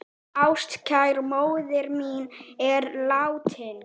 Ástkær móðir mín er látin.